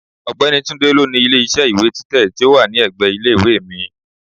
Ọ̀gbẹ́ni Tunde ló ni ilé iṣẹ́ ìwé títẹ̀ tí ó wà ní ẹ̀gbẹ́ ilé ìwé mi.